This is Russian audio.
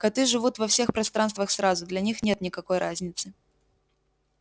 коты живут во всех пространствах сразу для них нет никакой разницы